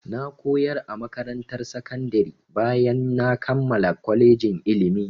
Na koyar a makarantar sakandari bayan ya kammala kolejin ilimi.